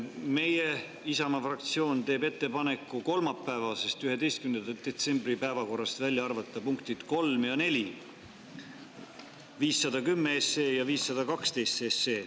Meie, Isamaa fraktsioon teeb ettepaneku kolmapäeva, 11. detsembri päevakorrast välja arvata punktid nr 3 ja nr 4 – 510 SE ja 512 SE.